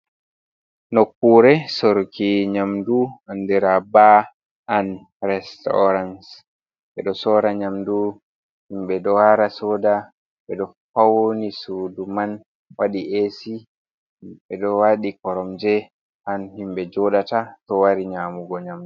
Nokkure sorki nyamdu an dira ɓa an restaurance ɓeɗo sora nyamdu himɓɓe ɗo wara soda ɓeɗo fauni sudu man waɗi esi, himɓɓe ɗo waɗi korom je an himɓɓe joɗata to wari nyamugo nyamdu.